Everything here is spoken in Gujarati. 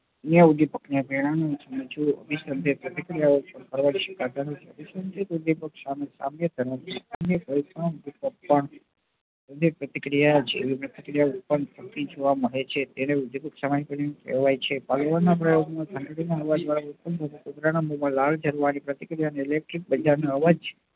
પ્રતિક્રિયા પ્રતિક્રિયા ઉત્પન્ન થતી જોવા મળે છે તેને પુત્ર નાં મોમાં લાલ જારવા ની પ્રતિક્રિયા ને લેખીક નાં અવાજ